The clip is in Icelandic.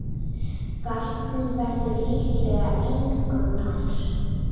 Barnið verður líklega engu nær.